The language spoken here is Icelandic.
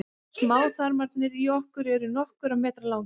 smáþarmarnir í okkur eru nokkurra metra langir